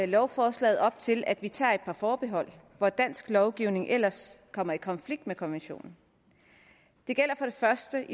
lovforslaget op til at vi tager et par forbehold hvor dansk lovgivning ellers kommer i konflikt med konventionen det første